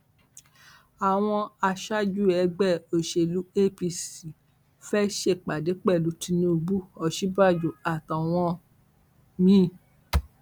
àwọn aṣáájú ẹgbẹ òsèlú apc fẹẹ ṣèpàdé pẹlú tinubu òsínbàjò àtàwọn mi